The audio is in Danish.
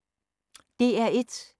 DR1